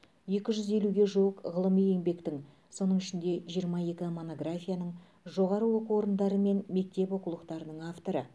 екі жүз елуге жуық ғылыми еңбектің соның ішінде жиырма екі монографияның жоғары оқу орындары мен мектеп оқулықтарының авторы